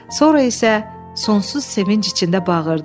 Sonra isə sonsuz sevinc içində bağırdı.